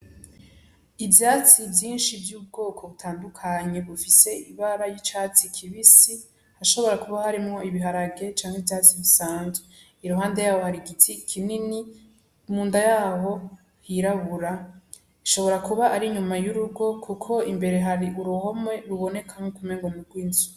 Ivyatsi vyinshi vy'ubwoko butandukanye bifise ibara ry'icatsi kibisi, harashobora kuba harimwo ibiharage canke ivyatsi bisanzwe, iruhande yaho hari igiti kinini munda yaho hirabura, hashobora kuba inyuma y'urugo, kuko imbere hari uruhome ruboneka nkuko umenga nurw'inzu.